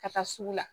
Ka taa sugu la